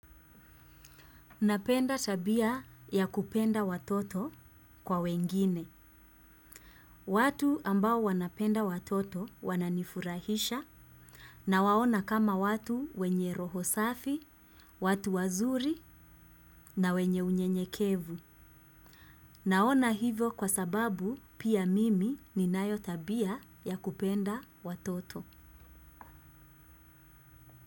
Napenda tabia ya kupenda watoto kwa wengine. Watu ambao wanapenda watoto wananifurahisha nawaona kama watu wenye rohosafi, watu wazuri na wenye unyenyekevu. Naona hivyo kwa sababu pia mimi ninayo tabia ya kupenda watoto.